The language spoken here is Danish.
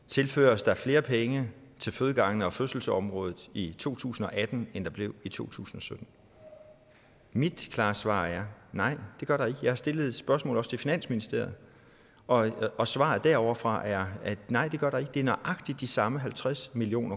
tilføres der flere penge til fødegangene og fødselsområdet i to tusind og atten end der blev i 2017 mit klare svar er nej det gør der ikke jeg har også stillet spørgsmålet til finansministeriet og og svaret derovrefra er nej det gør der ikke det er nøjagtig de samme halvtreds million